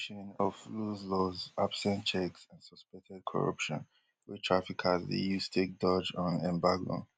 of loose laws absent checks and suspected corruption wey traffickers dey use take dodge un embargo